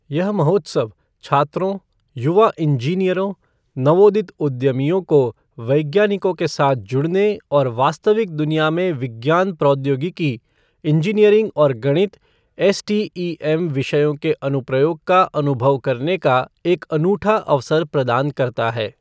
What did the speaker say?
यह महोत्सव छात्रों, युवा इंजीनियरों, नवोदित उद्यमियों को वैज्ञानिकों के साथ जुड़ने और वास्तविक दुनिया में विज्ञान प्रौद्योगिकी, इन्जीनियरिंग और गणित, एसटीईएम विषयों के अनुप्रयोग का अनुभव करने का एक अनूठा अवसर प्रदान करता है।